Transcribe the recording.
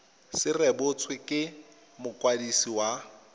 se rebotswe ke mokwadisi wa